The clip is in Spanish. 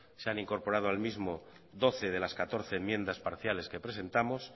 se han incorporado al mismo doce de las catorce enmiendas parciales que presentamos